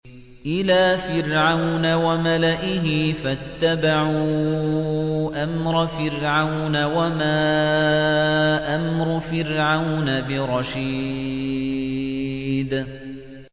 إِلَىٰ فِرْعَوْنَ وَمَلَئِهِ فَاتَّبَعُوا أَمْرَ فِرْعَوْنَ ۖ وَمَا أَمْرُ فِرْعَوْنَ بِرَشِيدٍ